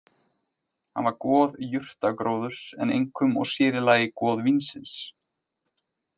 Hann var goð jurtagróðurs en einkum og sér í lagi goð vínsins.